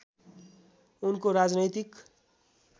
उनको राजनैतिक